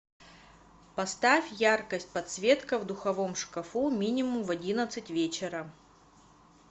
поставь яркость подсветка в духовом шкафу минимум в одиннадцать вечера